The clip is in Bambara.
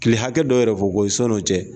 Kile hakɛ dɔw yɛrɛ fɔ ko ye sɔn no cɛ.